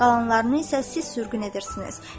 Qalanlarını isə siz sürgün edirsiniz.